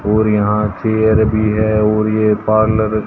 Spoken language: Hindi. और यहां चेयर भी है और ये पार्लर --